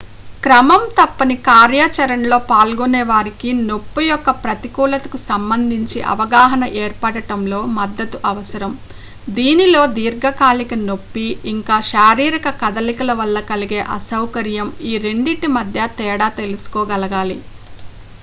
క్రమం తప్పని కార్యాచరణలో పాల్గొనే వారికి నొప్పి యొక్క ప్రతికూలతకు సంబంధించి అవగాహన ఏర్పడడంలో మద్దతు అవసరం దీనిలో దీర్ఘకాలిక నొప్పి ఇంకా శారీరక కదలికల వల్ల కలిగే అసౌకర్యం ఈ రెండింటి మధ్య తేడా తెలుసుకోగలగాలి